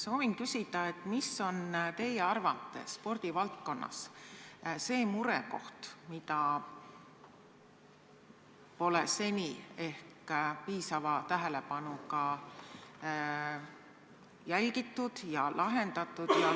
Soovin küsida, mis on teie arvates spordivaldkonnas see murekoht, mida pole seni ehk piisava tähelepanuga jälgitud ja lahendatud.